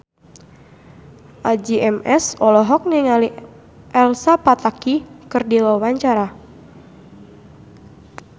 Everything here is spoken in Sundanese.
Addie MS olohok ningali Elsa Pataky keur diwawancara